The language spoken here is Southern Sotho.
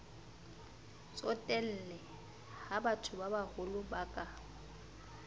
tsotelle ha bathobabaholo ba ka